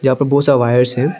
यहां पे बहोत सारा वायरस हैं।